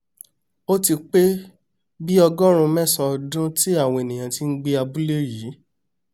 ó ti pé bíi ọgọ́rùún mẹ́sàán ọdún ti àwọn ènìà ti ń gbé abúlé yìí